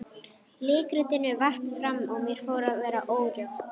Leikritinu vatt fram og mér fór að verða órótt.